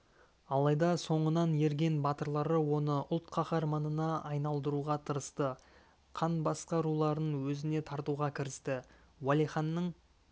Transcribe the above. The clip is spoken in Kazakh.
алайда соңынан ерген батырлары оны ұлт қаһарманына айналдыруға тырысты қан басқа руларын өзіне тартуға кірісті уәлиханның